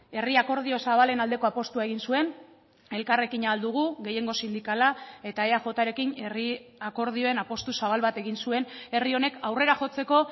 herri akordio zabalen aldeko apustua egin zuen elkarrekin ahal dugu gehiengo sindikala eta eajrekin herri akordioen apustu zabal bat egin zuen herri honek aurrera jotzeko